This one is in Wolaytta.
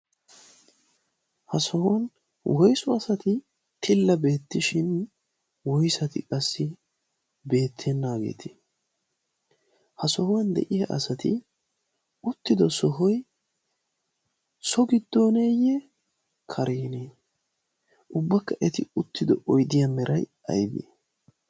ha sohuwan woisu asati tilla beettishin woisati qassi beettennaageeti ha sohuwan de7iya asati uttido sohoi sogiddooneeyye karienee? ubbakka eti uttido oidiya merai aibe?